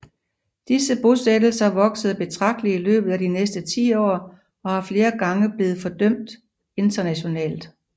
Disse bosættelser voksede betragtelig i løbet af de næste tiår og har flere gange blevet fordømt internationalt